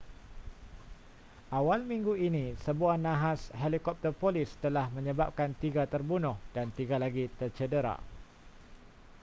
awal minggu ini sebuah nahas helikopter polis telah menyebabkan tiga terbunuh dan tiga lagi tercedera